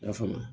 I y'a faamu